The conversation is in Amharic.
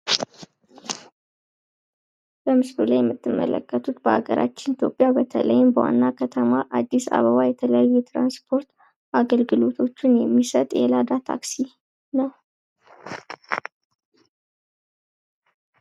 በምስሉ ላይ የምትመለከቱት በሀገራችን ኢትዮጵያ በተለይም በዋና ከተማ አዲስአበባ የተለያዩ የትራንስፖርት አገልግሎቶችን የሚሰጥ የታክሲ ላዳ ነው ።